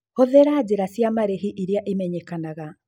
Hũthĩra njĩra cia marĩhi iria imenyekanaga.